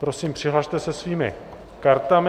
Prosím, přihlaste se svými kartami.